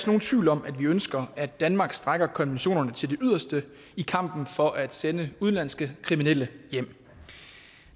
nogen tvivl om at vi ønsker at danmark strækker konventionerne til det yderste i kampen for at sende udenlandske kriminelle hjem